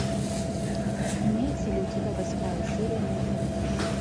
имеется ли у тебя восьмая серия менталист